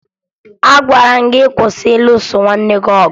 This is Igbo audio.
Agwara m gị kwụsị ịlụso nwanne gị ọgụ!